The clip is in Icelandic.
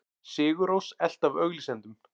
Sigur Rós elt af auglýsendum